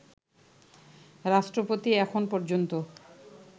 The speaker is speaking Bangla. রাষ্ট্রপতি এখন পর্যন্ত